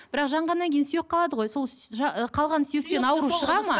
бірақ жанғаннан кейін сүйек қалады ғой сол қалған сүйектен ауру шығады ма